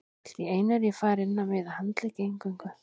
Allt í einu er ég farinn að miða á handleggi eingöngu.